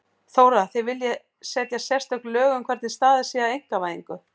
Þóra: Þið viljið setja sérstök lög um hvernig staðið sé að einkavæðingu?